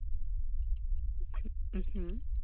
উহ হু